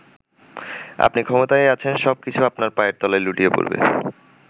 আপনি ক্ষমতায় আছেন, সব কিছু আপনার পায়ের তলায় লুটিয়ে পড়বে।